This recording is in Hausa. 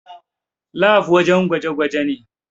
Lab wajen gwaje gwaje ne